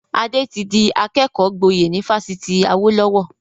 Ade tí di akẹ́kọ̀ọ́ gboyè ni Fásitì Awolowo